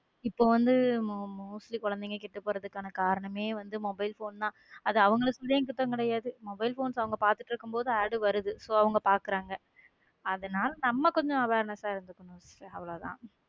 இப்போ வந்து mostly குழந்தைங்க கெட்டு போறதுக்கான காரணமே வந்து mobile phone தான் அது அவங்களுக்குள்ளயும் குத்தம் கிடையாது mobile phones அவங்க பாத்துட்டு இருக்கும்போது AD வருது சோ அவங்க பாக்குறாங்க அதனால நம்ம கொஞ்சம் awareness இருக்கணும் அவ்வளவுதான்.